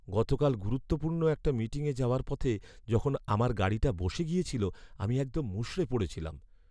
গতকাল গুরুত্বপূর্ণ একটা মিটিংয়ে যাওয়ার পথে যখন আমার গাড়িটা বসে গিয়েছিল, আমি একদম মুষড়ে পড়েছিলাম।